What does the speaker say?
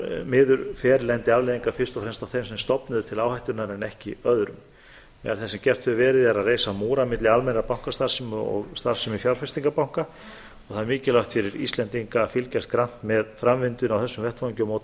miður fer lendi afleiðingar fyrst og fremst á þeim sem stofnuðu til áhættuna en ekki öðrum meðal þess sem gert hefur verið er að reisa múra milli almennrar bankastarfsemi og starfsemi fjárfestingarbanka og það er mikilvægt fyrir íslendinga að fylgjast grannt með framvindunni á þessum vettvangi og móta